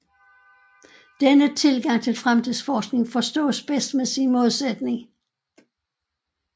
Denne tilgang til fremtidsforskning forstås bedst med sin modsætning